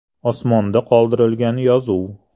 Osmonda qoldirilgan “yozuv”.